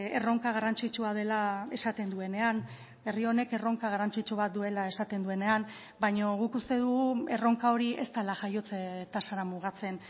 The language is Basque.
erronka garrantzitsua dela esaten duenean herri honek erronka garrantzitsu bat duela esaten duenean baina guk uste dugu erronka hori ez dela jaiotze tasara mugatzen